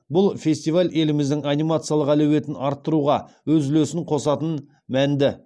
бұл фестиваль еліміздің анимациялық әлеуетін арттыруға өз үлесін қосатын мәнді